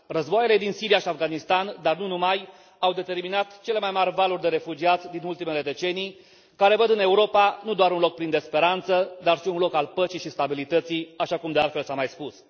Războaiele din Siria și Afganistan, dar nu numai au determinat cele mai mari valuri de refugiați din ultimele decenii, care văd în Europa nu doar un loc plin de speranță, dar și un loc al păcii și stabilității, așa cum de altfel s a mai spus.